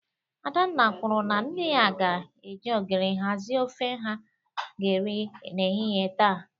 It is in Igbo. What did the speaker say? Adanna kwuru na nne ya ga-eji ogiri hazi ofe ha ga-eri n'ehihie taa